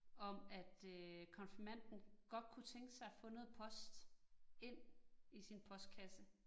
Om at øh konfirmanden godt kunne tænke sig at få noget post ind i sin postkasse